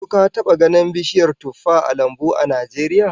Ko ka taba ganin bishiyar tuffah a lambu a Najeriya?